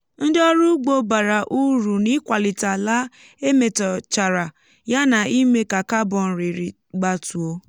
ndị ọrụ ugbo bàrà úrù n'íkwàlìtè àlà e métòchàrà yá nà ime kà carbon rịrị gbátuo